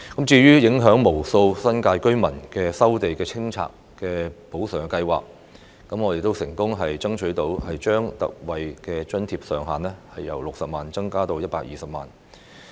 至於影響無數新界居民的收地清拆補償安排，我們亦成功爭取將特惠補償上限由60萬元增至120萬元。